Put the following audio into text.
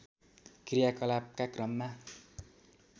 क्रियाकलापका क्रममा